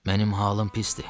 Mənim halım pisdir.